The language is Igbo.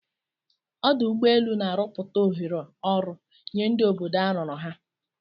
Ọdụ ụgbọ elu na-arọpụta ohere ọrụ nye ndi obodo arụrụ ha.